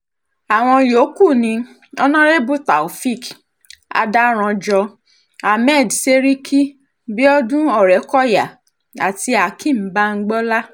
àwọn yòókù ni honorébù taofeek adárànjọ ahmed seriki biodun ọ̀rẹ́kọ́yà àti akeem bamgbọlá